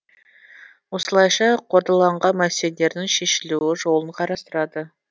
осылайша қордаланған мәселелердің шешілу жолын қарастырады